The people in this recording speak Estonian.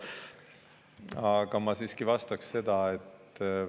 Aga ma vastaksin nii.